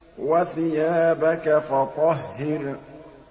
وَثِيَابَكَ فَطَهِّرْ